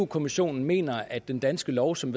kommissionen mener at den danske lov som